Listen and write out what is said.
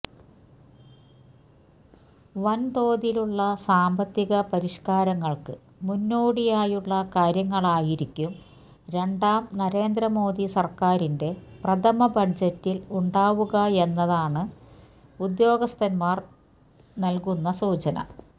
വന്തോതിലുള്ള സാമ്പത്തിക പരിഷ്കാരങ്ങള്ക്ക് മുന്നോടിയായുള്ള കാര്യങ്ങളായിരിക്കും രണ്ടാം നരേന്ദ്ര മോദി സര്ക്കാറിന്റെ പ്രഥമ ബജറ്റില് ഉണ്ടാവുകയെന്നാണ് ഉദ്യോഗസ്ഥന്മാര് നല്കുന്ന സൂചന